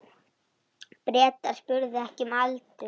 Bretar spurðu ekki um aldur.